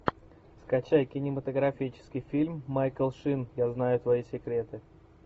скачай кинематографический фильм майкл шин я знаю твои секреты